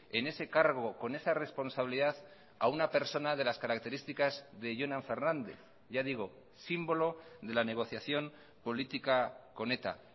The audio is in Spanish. en ese cargo con esa responsabilidad a una persona de las características de jonan fernández ya digo símbolo de la negociación política con eta